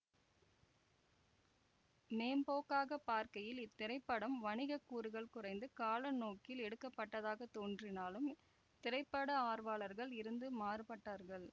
மேம்போக்காக பார்க்கையில் இத்திரைப்படம் வணிக கூறுகள் குறைந்து கலைநோக்கில் எடுக்கப்பட்டதாகத் தோன்றினாலும் திரைப்பட ஆர்வலர்கள் இருந்து மாறுபட்டார்கள்